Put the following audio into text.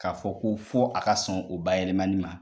K'a fɔ ko fɔ a ka sɔn o bayɛlɛmani ma